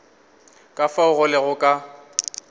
ka fao go lego ka